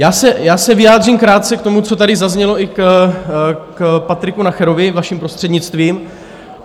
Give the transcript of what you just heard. Já se vyjádřím krátce k tomu, co tady zaznělo i k Patriku Nacherovi, vaším prostřednictvím.